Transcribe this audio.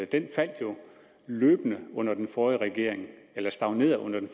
den faldt jo løbende under den forrige regering eller stagnerede under den